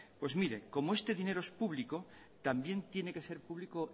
pues mire como este dinero es público también tiene que ser público